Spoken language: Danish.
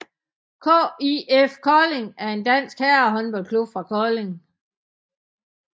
KIF Kolding er en dansk herrehåndboldklub fra Kolding